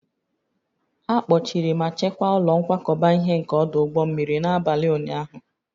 A kpọchiri ma chekwaa ụlọ nkwakọba ihe nke ọdụ ụgbọ mmiri n'abalị ụnyahụ